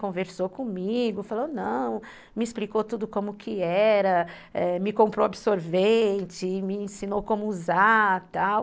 Conversou comigo, falou, não, me explicou tudo como que era, me comprou, ãh, absorvente, me ensinou como usar e tal.